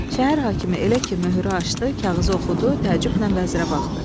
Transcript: Şəhər hakimi elə ki möhürü açdı, kağızı oxudu, təəccüblə vəzirə baxdı.